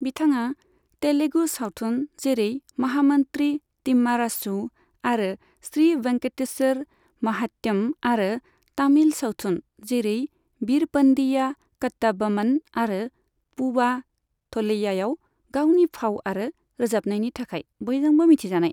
बिथाङा तेलुगु सावथुन जेरै महामन्त्री तिम्मारासु आरो श्री वेंकटेश्वर महात्यम आरो तामिल सावथुन जेरै वीरपन्डिया कट्टाब'म्मन आरो पूवा थलैयाआव गावनि फाव आरो रोजाबनायनि थाखाय बयजोंबो मिथिजानाय।